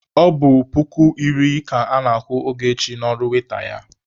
Ọ bụ puku iri ka ana-akwụ Ogechi n'ọrụ waita ya.